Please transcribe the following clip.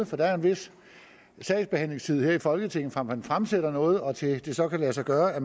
for der er en vis sagsbehandlingstid her i folketinget fra man fremsætter noget og til at det så kan lade sig gøre at